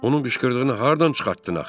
Onun qışqırdığını hardan çıxartdın axı?